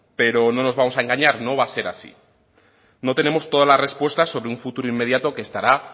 pero no nos vamos a engañar no va a ser así no tenemos todas las respuestas sobre un futuro inmediato que estará